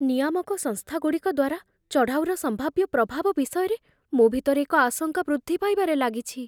ନିୟାମକ ସଂସ୍ଥାଗୁଡ଼ିକ ଦ୍ୱାରା ଚଢ଼ାଉର ସମ୍ଭାବ୍ୟ ପ୍ରଭାବ ବିଷୟରେ ମୋ ଭିତରେ ଏକ ଆଶଙ୍କା ବୃଦ୍ଧି ପାଇବାରେ ଲାଗିଛି।